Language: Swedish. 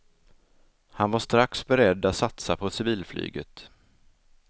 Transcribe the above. Han var strax beredd att satsa på civilflyget.